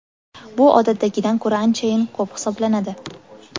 Bu odatdagidan ko‘ra anchayin ko‘p hisoblanadi.